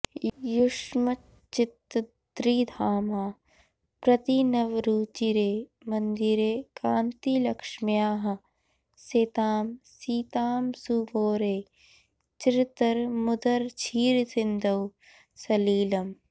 युष्मच्चित्तत्रिधामा प्रतिनवरुचिरे मन्दिरे कान्तिलक्ष्म्याः शेतां शीतांशुगौरे चिरतरमुदरक्षीरसिन्धौ सलीलम्